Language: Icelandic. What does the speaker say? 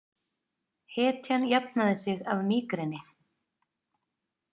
Hetjan jafnaði sig af mígreni